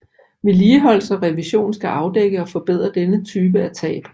Vedligeholdelse og revision skal afdække og forbedre denne type af tab